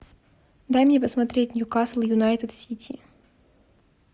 дай мне посмотреть ньюкасл юнайтед сити